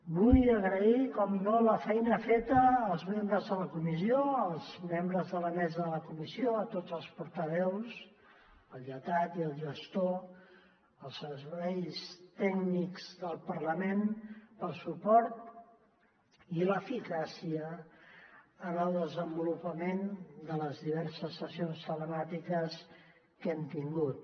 vull agrair per descomptat la feina feta als membres de la comissió als membres de la mesa de la comissió a tots els portaveus al lletrat i al gestor als serveis tècnics del parlament pel suport i l’eficàcia en el desenvolupament de les diverses sessions telemàtiques que hem tingut